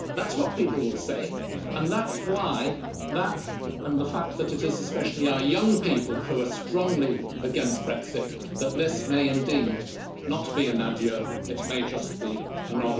That's what people will say, and that's why that, and the fact that it is especially our young people who are strongly against Brexit this may indeed not be an adieu it may just